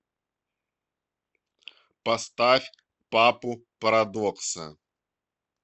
поставь папу парадокса